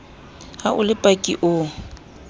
ha o le paki o